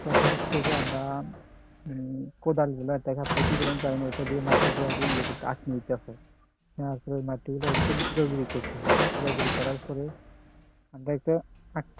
প্রথম হচ্ছে যে আমরা উম কোদাল গুলা মাটি তারপর মাটিগুলো একদম গুড়াগুড়ি করতে হয় গুড়াগুড়ি করার পরে